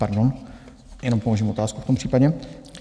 Pardon, jenom položím otázku v tom případě.